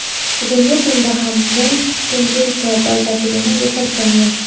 Bugungi kunda ham bu tendensiya dolzarbligini yo‘qotgani yo‘q.